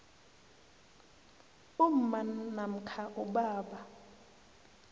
umma namkha ubaba